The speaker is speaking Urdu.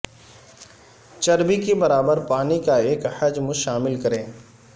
چربی کے برابر پانی کا ایک حجم شامل کریں